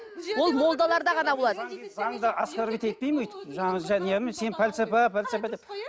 ол молдаларда ғана болады заңды оскорбить етпеймін өйтіп жаңа жәния ма сен пәлсапа пәлсапа деп